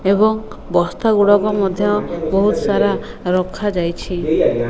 ଏବଂ ବସ୍ତା ଗୁଡ଼ାକ ମଧ୍ୟ ବୋହୁତ୍ ସାରା ରଖା ଯାଇଛି।